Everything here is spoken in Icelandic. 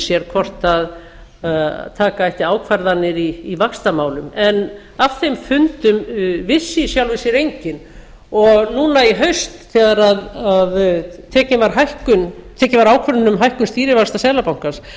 sér hvort taka ætti ákvarðanir í vaxtamálum en af þeim fundum vissi í sjálfu sér enginn og núna í haust þegar tekin var ákvörðun um hækkun stýrivaxta seðlabankans